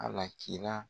Alakira